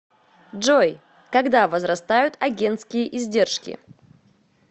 джой когда возрастают агентские издержки